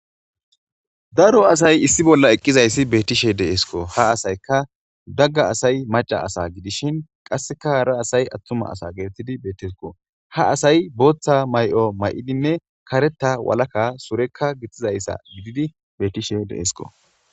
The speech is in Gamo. Daro asay issi bolla eqqidi dizayassi beettishe deesko ha asay macca asa gidishin qasseka hara asay attuma asa gididi beetteesko ha asay bootha may7o may7idinne karetha walaka sureka gixxidaysa gidishe beettesiko.